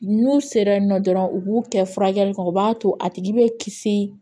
N'u sera yen nɔ dɔrɔn u b'u kɛ furakɛli kɛ o b'a to a tigi bɛ kisi